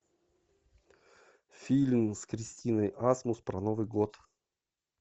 фильм с кристиной асмус про новый год